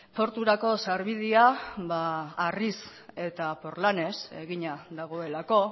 porturako sarbidea harriz eta porlanez egina dagoelako